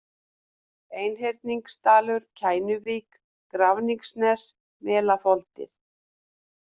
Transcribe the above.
Einhyrningsdalur, Kænuvík, Grafningsnes, Melafoldir